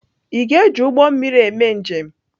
Ị ga-eji ụgbọ mmiri eme njem?